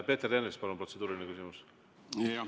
Peeter Ernits, palun, protseduuriline küsimus!